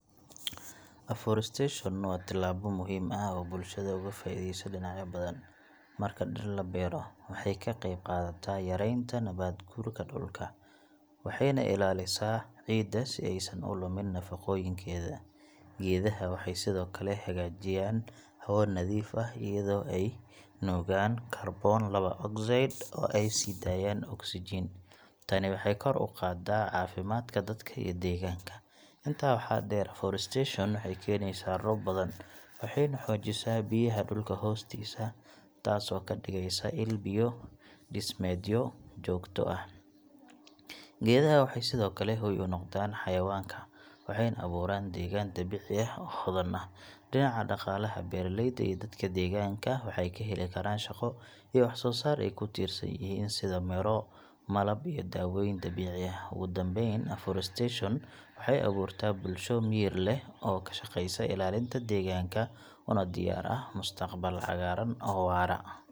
Afforestation waa tallaabo muhiim ah oo bulshada uga faa’iideyso dhinacyo badan. Marka dhir la beero, waxay ka qayb qaadataa yaraynta nabaad guurka dhulka, waxayna ilaalisaa ciidda si aysan u lumin nafaqooyinkeeda. Geedaha waxay sidoo kale hagaajiyaan hawo-nadiif ah, iyadoo ay nuugaan kaarboon laba ogsaydh oo ay sii daayaan oksijiin. Tani waxay kor u qaaddaa caafimaadka dadka iyo deegaanka. Intaa waxaa dheer, afforestation waxay keenaysaa roob badan, waxayna xoojisaa biyaha dhulka hoostiisa, taas oo ka dhigaysa il biyo-dhismeedyo joogto ah. Geedaha waxay sidoo kale hoy u noqdaan xayawaanka, waxayna abuuraan deegaan dabiici ah oo hodan ah. Dhinaca dhaqaalaha, beeralayda iyo dadka deegaanka waxay ka heli karaan shaqo iyo wax soo saar ay ku tiirsan yihiin sida miro, malab iyo daawooyin dabiici ah. Ugu dambayn, afforestation waxay abuurtaa bulsho miyir leh oo ka shaqaysa ilaalinta deegaanka, una diyaar ah mustaqbal cagaaran oo waara.